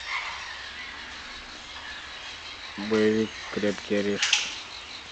боевик крепкий орешек